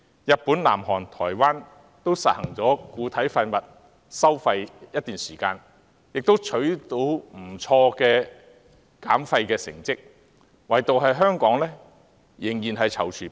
日本、南韓及台灣均已實行固體廢物收費一段時間，亦取得不錯的減廢成績，唯獨香港仍然躊躇不前。